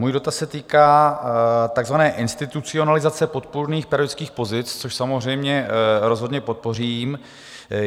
Můj dotaz se týká takzvané institucionalizace podpůrných pedagogických pozic, což samozřejmě rozhodně podpořím.